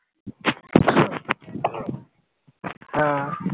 হ্যাঁ